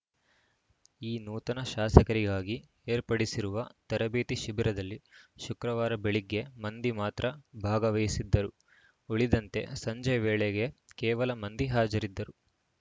ಈ ನೂತನ ಶಾಸಕರಿಗಾಗಿ ಏರ್ಪಡಿಸಿರುವ ತರಬೇತಿ ಶಿಬಿರದಲ್ಲಿ ಶುಕ್ರವಾರ ಬೆಳಗ್ಗೆ ಮಂದಿ ಮಾತ್ರ ಭಾಗವಹಿಸಿದ್ದರು ಉಳಿದಂತೆ ಸಂಜೆ ವೇಳೆಗೆ ಕೇವಲ ಮಂದಿ ಹಾಜರಿದ್ದರು